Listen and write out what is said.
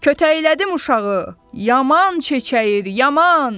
Kötəklədim uşağı, yaman çəçəyir, yaman.